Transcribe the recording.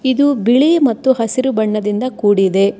ಇದು ಬಿಳಿ ಮತ್ತು ಹಸಿರು ಬಣ್ಣದಿಂದ ಕೂಡಿದೆ.